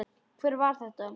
Hver var þetta?